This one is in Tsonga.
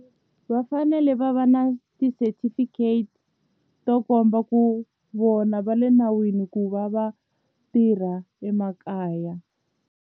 Va fanele va va na ti-certificate to komba ku vona va le nawini ku va va tirha emakaya.